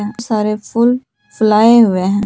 सारे फूल फुलाए हुए हैं।